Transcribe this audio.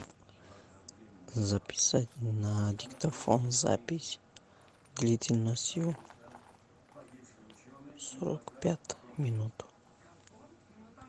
записать на диктофон запись длительностью сорок пять минут